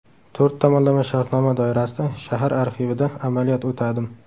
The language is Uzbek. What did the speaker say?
To‘rt tomonlama shartnoma doirasida shahar arxivida amaliyot o‘tadim.